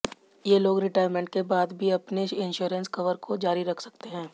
ये लोग रिटायरमेंट के बाद भी अपने इंश्योरेंस कवर को जारी रख सकते हैं